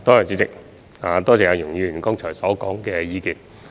主席，多謝容議員剛才提出的意見。